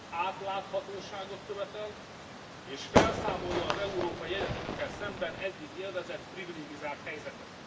átláthatóságot követel, és felszámolja az európai egyetemekkel szemben eddig élvezett privilegizált helyzetet.